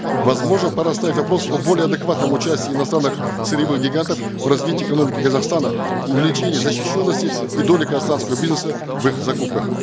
возможно пора ставить вопрос о более адекватном участии иностранных сырьевых гигантов в развитии экономики казахстана увеличение защищенности и доли казахстанского бизнеса в их закупках